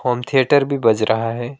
Home theatre बज रहा है।